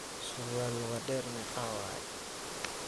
Sarwal luga deer meqa waye?